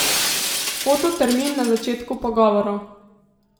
Fototermin na začetku pogovorov.